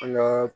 An ŋaa